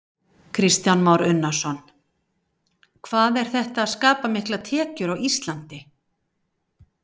Kristján Már Unnarsson: Hvað er þetta að skapa miklar tekjur á Íslandi?